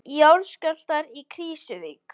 Jarðskjálftar í Krýsuvík